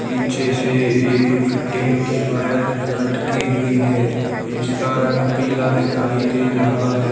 पीछे से एक फिटिंग की वायर लटकी हुई है इसका रंग पीला दिखाई दे रहा है।